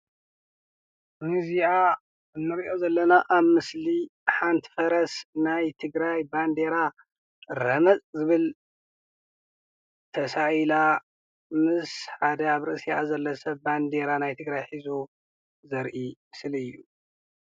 እዚ ንሪኦ ዘለና ኣብ ምስሊ ሓንቲ ፈረስ ናይ ትግራይ ባንዴራ ረመፅ ዝብል ተሳኢላ ምስ ኣብ ርእሲኣ ዘሎ ሓደ ሰብ ባንዴራ ናይ ትግራይ ሒዙ ዘርኢ ምስሊ እዩ፡፡